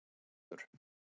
Þrándur